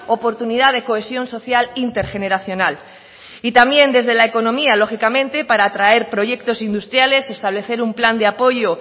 oportunidad de cohesión social intergeneracional y también desde la economía lógicamente para atraer proyectos industriales establecer un plan de apoyo